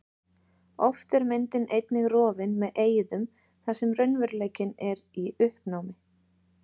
Oft er myndin einnig rofin með eyðum þar sem raunveruleikinn er í uppnámi.